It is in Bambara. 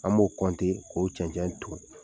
An b'o k'o cɛncɛn ton.